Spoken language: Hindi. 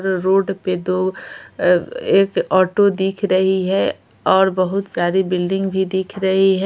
रोड पे दो एक ऑटो दिख रही है और बहुत सारी बिल्डिंग भी दिख रही है।